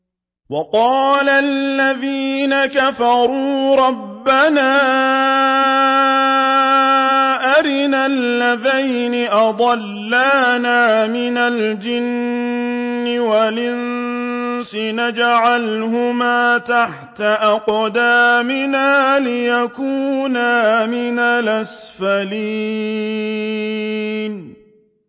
وَقَالَ الَّذِينَ كَفَرُوا رَبَّنَا أَرِنَا اللَّذَيْنِ أَضَلَّانَا مِنَ الْجِنِّ وَالْإِنسِ نَجْعَلْهُمَا تَحْتَ أَقْدَامِنَا لِيَكُونَا مِنَ الْأَسْفَلِينَ